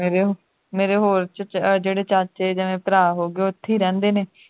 ਮੇਰੇ ਮੇਰੇ ਹੋਮ ਚ ਜਿਹੜੇ ਚਾਚੇ ਜਾਂ ਜਿਵੇਂ ਭਰਾ ਹੋ ਗਏ ਉਹ ਉੱਥੇ ਹੀ ਰਹਿੰਦੇ ਨੇ